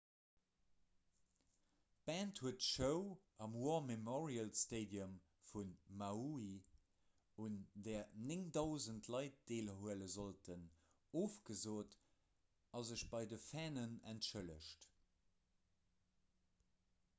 d'band huet d'show am war memorial stadium vun maui un där 9 000 leit deelhuele sollten ofgesot a sech bei de fannen entschëllegt